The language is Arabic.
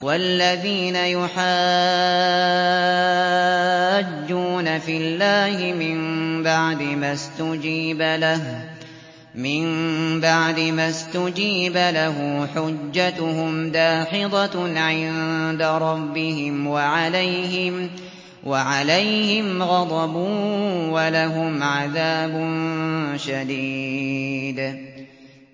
وَالَّذِينَ يُحَاجُّونَ فِي اللَّهِ مِن بَعْدِ مَا اسْتُجِيبَ لَهُ حُجَّتُهُمْ دَاحِضَةٌ عِندَ رَبِّهِمْ وَعَلَيْهِمْ غَضَبٌ وَلَهُمْ عَذَابٌ شَدِيدٌ